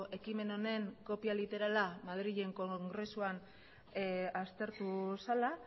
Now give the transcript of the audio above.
ekimen honen kopia literala madrilen kongresuan aztertu zela